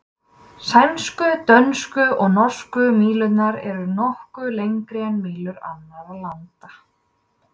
Sænsku, dönsku og norsku mílurnar eru nokkru lengri en mílur annarra landa.